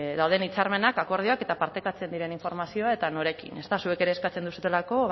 dauden hitzarmenak akordioak eta partekatzen diren informazioa eta norekin zuek ere eskatzen duzuelako